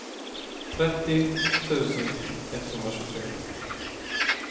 trettio tusen etthundratjugotre